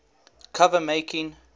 cover making